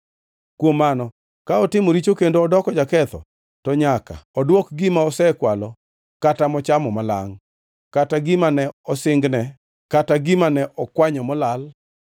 kuom mano ka otimo richo kendo odoko jaketho, to nyaka odwok gima osekwalo kata mochamo malangʼ, kata gima ne osingne, kata gima ne okwanyo molal,